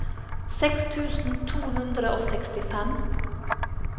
seks tusen to hundre og sekstifem